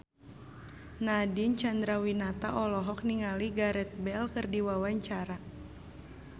Nadine Chandrawinata olohok ningali Gareth Bale keur diwawancara